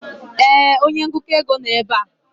ee, onye ngụkọ ego nọ ebe a.